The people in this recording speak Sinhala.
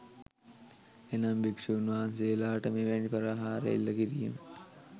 එනම් භික්ෂූන් වහන්සේලාට මෙවැනි ප්‍රහාර එල්ල කිරීම